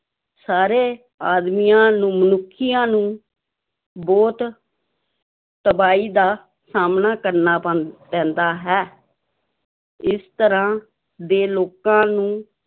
ਸਾਰੇ ਆਦਮੀਆਂ ਨੂੰ ਮਨੁੱਖੀਆਂ ਨੂੰ ਬਹੁਤ ਤਬਾਹੀ ਦਾ ਸਾਹਮਣਾ ਕਰਨਾ ਪ ਪੈਂਦਾ ਹੈ ਇਸ ਤਰ੍ਹਾਂ ਦੇ ਲੋਕਾਂ ਨੂੰ